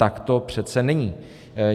Tak to přece není.